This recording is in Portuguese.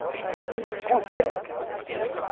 Então, tem que